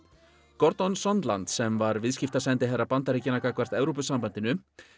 Sondland sem var Bandaríkjanna gagnvart Evrópusambandinu